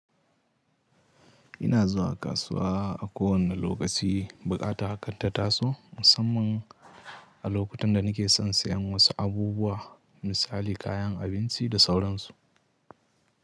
Ina zuwa kasuwa a kowane lokaci, buƙata hakan ta taso musamman a lokutan da nake son siyan wasu abubuwa misali kayan abinci da sauran su.